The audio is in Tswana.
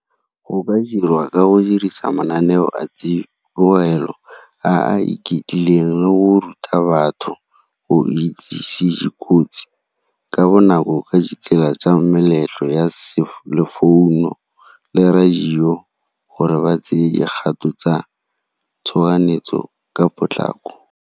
Go ka dirwa ka go dirisa mananeo a tsibogelo a a iketlileng le go ruta batho go itsise kotsi ka bonako ka ditsela tsa meletlo ya founu le radio gore ba tseye dikgato tsa tshoganyetso ka potlako.